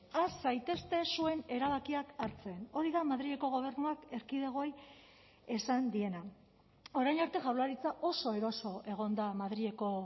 has zaitezte zuen erabakiak hartzen hori da madrileko gobernuak erkidegoei esan diena orain arte jaurlaritza oso eroso egon da madrileko